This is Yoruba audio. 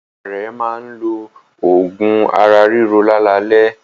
Ìyá rẹ̀ máa ń lo oògùn ara-ríro lálalẹ́.